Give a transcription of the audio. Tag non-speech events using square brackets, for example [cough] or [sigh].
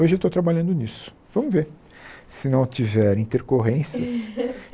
Hoje eu estou trabalhando nisso, vamos ver se não tiver intercorrências. [laughs]